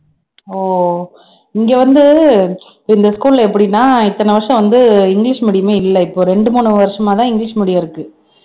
ஓ இங்க வந்து இந்த school ல எப்படின்னா இத்தனை வருஷம் வந்து இங்கிலிஷ் medium ஏ இல்லை இப்போ ரெண்டு மூணு வருஷமாதான் இங்கிலிஷ் medium இருக்கு